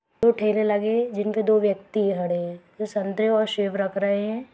दो ठेले लगे जिन पे दो व्यक्ति खड़े हैं जो संतरे व सेव रख रहे हैं।